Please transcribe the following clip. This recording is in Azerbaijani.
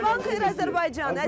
Sabahınız xeyir, Azərbaycan.